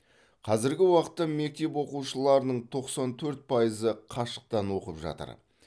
қазіргі уақытта мектеп оқушыларының тоқсан төрт пайызы қашықтан оқып жатыр